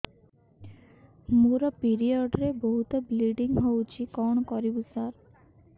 ମୋର ପିରିଅଡ଼ ରେ ବହୁତ ବ୍ଲିଡ଼ିଙ୍ଗ ହଉଚି କଣ କରିବୁ ସାର